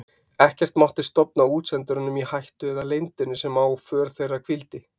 Ekkert mátti stofna útsendurunum í hættu eða leyndinni sem á för þeirra hvíldi.